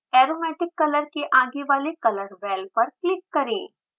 aromatic color के आगे वाले color well पर क्लिक करें